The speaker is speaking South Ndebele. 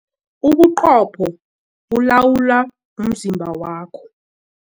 Ubuqopho bulawula umzimba wakho.